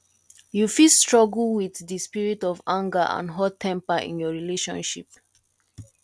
you fit struggle with di spirit of anger and hottemper in your relationship